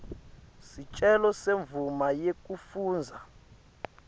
sicelo semvumo yekufundza